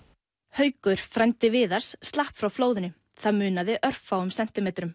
haukur frændi Viðars slapp frá flóðinu það munaði örfáum sentimetrum